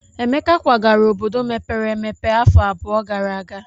Emeka kwagara obodo mepere emepe afọ abụọ gara aga.